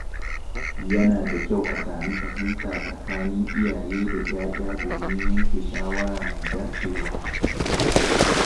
Yana da kyau a sami fahimta tsakanin iyaye da ‘ya’ya domin a yanke shawara mai dacewa.